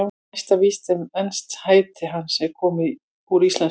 Næsta víst er að enskt heiti hans er komið úr íslensku.